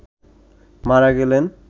মারা গেলেন